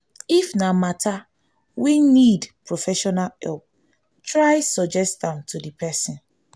if na matter wey make professional help try suggest am to di persin